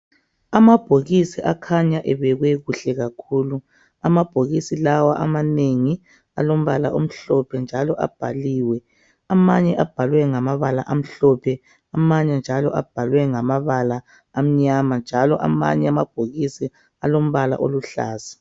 Amabhokisi akhanya ebekwe kuhle kakhulu amabhokisi lawa amanengi alombala omhlophe njalo abhaliwe amanye abhalwe ngamabala amhlophe amanye njalo abhalwe ngamabala amnyama njalo amanye amabhokisi alombala oluhlaza